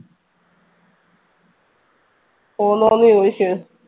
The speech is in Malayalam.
പോന്നോന്ന് ചോദിച്ചു.